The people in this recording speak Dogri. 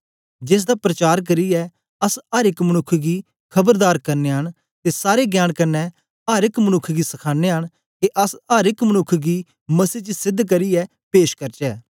जेसदा प्रचार करियै अस अर एक मनुक्ख गी खबरदार करनयां न ते सारे ज्ञान कन्ने अर एक मनुक्ख गी सखानयां न के अस अर एक मनुक्ख गी मसीह च सेध्द करियै पेश करचै